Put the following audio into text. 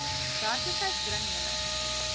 werklikheid bring julle